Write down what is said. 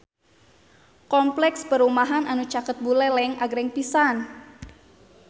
Kompleks perumahan anu caket Buleleng agreng pisan